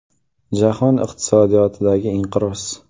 Jahon iqtisodiyotidagi inqiroz.